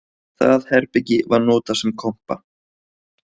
Það herbergi var notað sem kompa